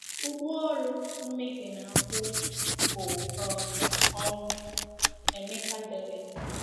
"Ụgwọ ọrụ mmehie na-akwụ bụ um ọnwụ," Emeka dere.